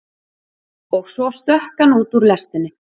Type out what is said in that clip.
Og svo stökk hann út úr lestinni.